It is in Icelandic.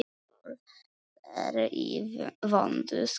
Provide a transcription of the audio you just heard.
Kolur er í vondu skapi.